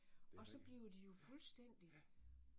Og så blev de jo fuldstændig